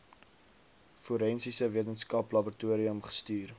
forensiese wetenskaplaboratorium gestuur